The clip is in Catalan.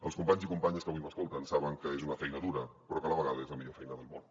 els companys i companyes que avui m’escolten saben que és una feina dura però que a la vegada és la millor feina del món